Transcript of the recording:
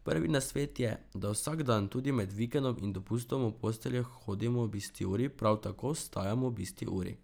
Prvi nasvet je, da vsak dan, tudi med vikendom in dopustom, v posteljo hodimo ob isti uri, prav tako vstajamo ob isti uri.